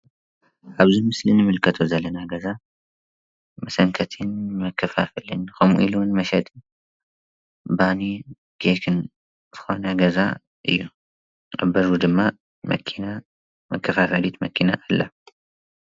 ኣብዚ ምስሊ እንምልከቶ ዘለና ገዛ መሰንከትን መከፋፈልን ከምኡ ኢሉ መሸጥን ባንን ኬክን ዝኮነ ገዛ እዩ፡፡ ኣብ በሩ ድማ መኪና መከፋፈሊት መኪና ኣላ፡፡